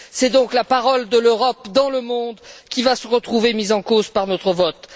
C'est donc la parole de l'Europe dans le monde qui va se retrouver mise en cause par notre vote.